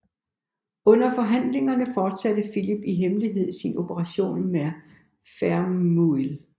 Under forhandlingerne fortsatte Filip i hemmelighed sin operation mod Verneuil